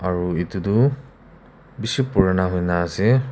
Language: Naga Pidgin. aro etu tu bishi purana hoina ase.